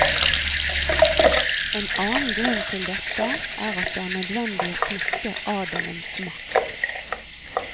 En annen grunn til dette er at det er nødvendig å knekke adelens makt.